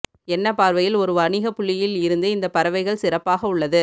என்ன பார்வையில் ஒரு வணிக புள்ளியில் இருந்து இந்த பறவைகள் சிறப்பாக உள்ளது